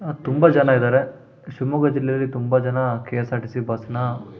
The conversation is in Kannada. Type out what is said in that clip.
ಅಹ್ ತುಂಬಾ ಜನ ಇದ್ದಾರೆ ಶಿಮೊಗ್ಗ ಜಿಲ್ಲೆಯಲ್ಲಿ ತುಂಬಾ ಜನ ಕೆ.ಎಸ್.ಆರ್.ಟಿ.ಸಿ. ಬಸ್ ನ--